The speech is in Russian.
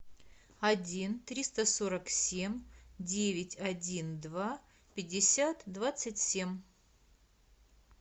один триста сорок семь девять один два пятьдесят двадцать семь